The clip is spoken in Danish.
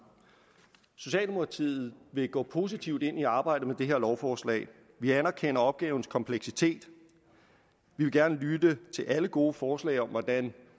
socialdemokratiet vil gå positivt ind i arbejdet med det her lovforslag vi anerkender opgavens kompleksitet vi vil gerne lytte til alle gode forslag om hvordan